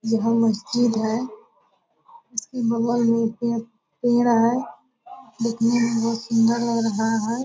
वहा मस्जिद है। उसके बगल मे एक पेड़ पेड़ है। देखने मे बहुत सुंदर लग रहा है |